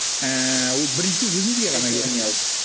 ііі ол біріншіден өзімізге ғана керек